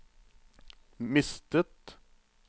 mistet